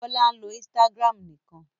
Bọ́lá ń lo Instagram nìkan.